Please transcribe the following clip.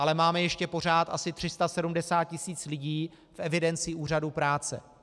Ale máme ještě pořád asi 370 tisíc lidí v evidenci úřadů práce.